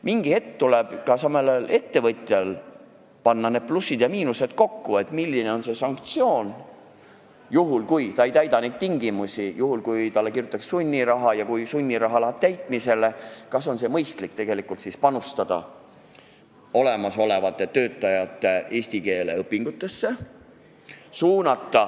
Mingi hetk tuleb ka ettevõtjal panna plussid ja miinused kokku, vaadata, milline on see sanktsioon, kui ta ei täida tingimusi, ning kui talle kirjutatakse välja sunniraha ja kui see läheb täitmisele, kas siis oleks mõistlikum panustada olemasolevate töötajate eesti keele õpingutesse.